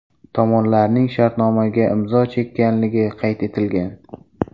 Tomonlarning shartnomaga imzo chekkanligi qayd etilgan.